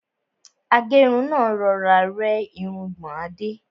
Agẹ́run náà rọra rẹ́ irungbọ̀n Adé.